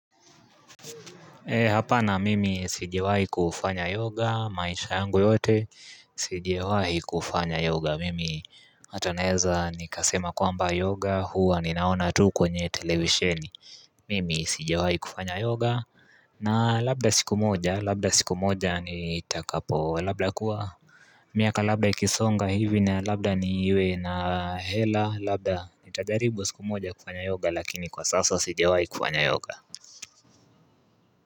Ee hapana mimi sijawahi kufanya yoga maisha yangu yote sijawahi kufanya yoga mimi ata naeza nikasema kwamba yoga huwa ninaona tu kwenye televisheni mimi sijawahi kufanya yoga na labda siku moja labda siku moja nitakapo labda kuwa miaka labda ikisonga hivi na labda niwe na hela labda nitajaribu siku moja kufanya yoga lakini kwa sasa sijawahi kufanya yoga.